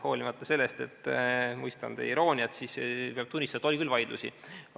Hoolimata sellest, et mõistan teie irooniat, peab tunnistama, et oli küll vaidlusi.